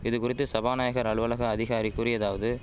இதுகுறித்து சபாநாயகர் அலுவலக அதிகாரி கூறியதாவது